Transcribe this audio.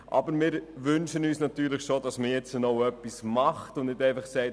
Aber wir wünschen uns natürlich schon, dass man jetzt auch etwas macht und nicht einfach sagt: